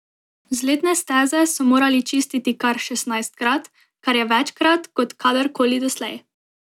Vzletne steze so morali čistiti kar šestnajstkrat, kar je večkrat kot kadar koli doslej.